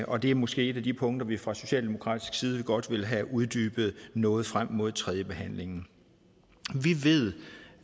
og det er måske et af de punkter vi fra socialdemokratisk side godt vil have uddybet noget frem mod tredjebehandlingen vi ved